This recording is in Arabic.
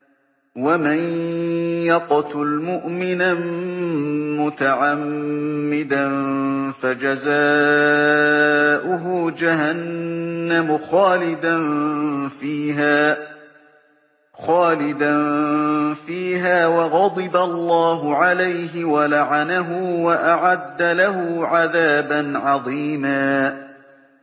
وَمَن يَقْتُلْ مُؤْمِنًا مُّتَعَمِّدًا فَجَزَاؤُهُ جَهَنَّمُ خَالِدًا فِيهَا وَغَضِبَ اللَّهُ عَلَيْهِ وَلَعَنَهُ وَأَعَدَّ لَهُ عَذَابًا عَظِيمًا